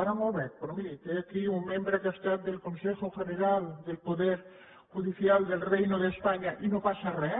ara no el veig però miri té aquí un membre que ha estat del consejo general del poder judicial del reino de españa i no passa re